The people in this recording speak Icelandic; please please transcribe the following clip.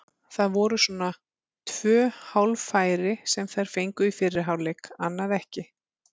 Það voru svona tvö hálffæri sem þær fengu í fyrri hálfleik, annað ekki.